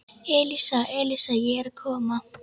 Elísa, Elísa, ég er að koma